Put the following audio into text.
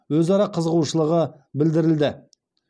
өзара қызығушылығы білдірілді